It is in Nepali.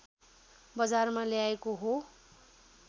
बजारमा ल्याएको हो